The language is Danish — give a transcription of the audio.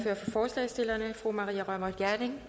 forslagsstillerne fru maria reumert gjerding